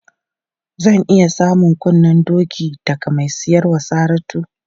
Zan iya samun kunnen doki daga mai siyar wa Saratu?